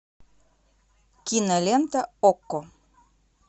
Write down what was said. кинолента окко